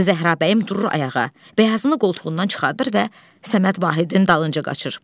Zəhrabəyim durur ayağa, bəyazını qoltuğundan çıxardır və Səməd Vahidin dalınca qaçır.